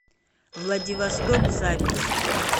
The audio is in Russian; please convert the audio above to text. владивосток запись